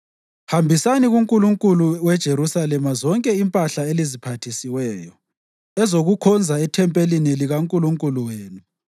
Hambisani kuNkulunkulu weJerusalema zonke impahla eliziphathisiweyo ezokukhonza ethempelini likaNkulunkulu wenu.